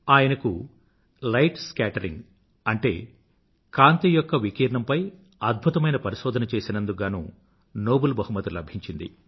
ఆయనకు light scattering అంటే కాంతి యొక్క వికీర్ణంపై అద్భుతమైన పరిశోధన చేసినందుకు గానూ నోబుల్ బహుమతి లభించింది